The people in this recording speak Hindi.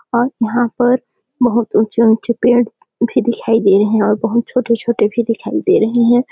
और यहाँ पर बहुत ऊंचे- ऊंचे पेड़ दिखाई दे रहे है और बहुत छोटे -छोटे भी दिखाई दे रहे हैं ।